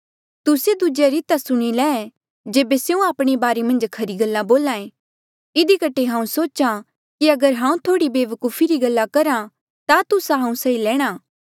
तुस्से दूजेया री ता सुणी ले जेबे स्यों आपणे बारे मन्झ खरी गल्ला बोला ऐें इधी कठे हांऊँ सोचा कि अगर हांऊँ थोह्ड़ी वेवकुफी री गल्ला करहा ता तुस्सा हांऊँ सही लैणा